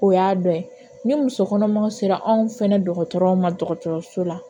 O y'a dɔ ye ni muso kɔnɔmaw sera anw fɛ dɔgɔtɔrɔw ma dɔgɔtɔrɔso la